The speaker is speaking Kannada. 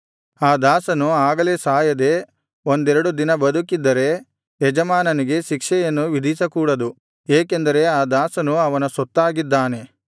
ಆ ದಾಸನು ಆಗಲೇ ಸಾಯದೆ ಒಂದೆರಡು ದಿನ ಬದುಕಿದ್ದರೆ ಯಜಮಾನನಿಗೆ ಶಿಕ್ಷೆಯನ್ನು ವಿಧಿಸಕೂಡದು ಏಕೆಂದರೆ ಆ ದಾಸನು ಅವನ ಸೊತ್ತಾಗಿದ್ದಾನೆ